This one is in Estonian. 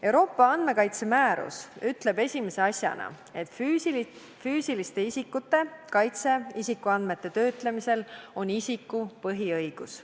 Euroopa andmekaitsemäärus ütleb esimese asjana, et füüsiliste isikute kaitse isikuandmete töötlemisel on isikute põhiõigus.